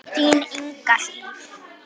Þín Inga Hlíf.